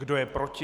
Kdo je proti?